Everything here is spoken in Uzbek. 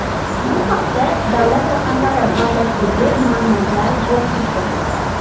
Bu haqda davlat raqamlari bazasidagi ma’lumotlar guvohlik bermoqda.